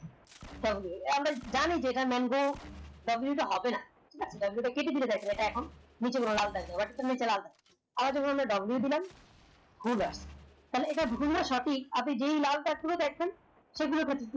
আমরা জানি যেটা ডাব্ল টা হবে না কেটে দিলে এখন নিচে লাল আবার যখন ডাব্লু দিলাম তাহলে এটা ভুল না সঠিক আপনি যে লাল টা খুলে দেখবেন সেগুলো